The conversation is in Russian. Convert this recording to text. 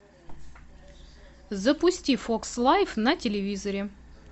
запусти фокс лайф на телевизоре